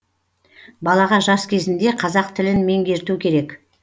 балаға жас кезінде қазақ тілін меңгерту керек